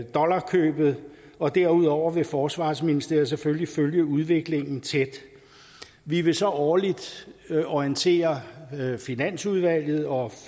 dollarkøbet og derudover vil forsvarsministeriet selvfølgelig følge udviklingen tæt vi vil så årligt orientere finansudvalget og